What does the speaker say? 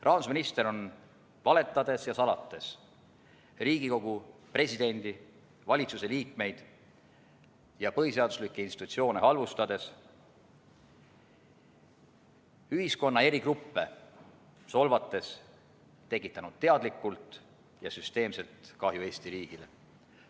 Rahandusminister on valetades ja salates, Riigikogu, presidenti, valitsuse liikmeid ja põhiseaduslikke institutsioone halvustades, ühiskonna eri gruppe solvates tekitanud teadlikult ja süsteemselt kahju Eesti riigile.